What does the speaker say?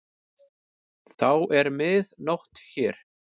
Þá er mið nótt hér.